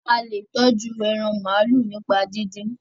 a le tọjú èràn maalu nípa didin.